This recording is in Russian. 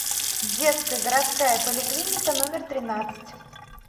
детская городская поликлиника номер тринадцать